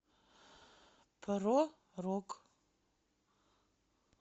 про рок